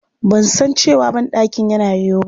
Ban san cewa banɗakin yana yoyo ba.